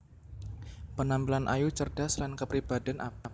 Penampilan ayu cerdas lan kapribadèn apik